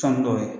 Sanni dɔw ye